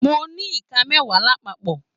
Mo ní Ìká mẹwa lápapọ̀.